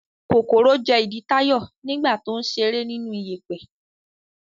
Kòkòrò jẹ ìdí Táyọ̀ nígbà tó ń ṣeré nínú ìyẹ̀pẹ̀.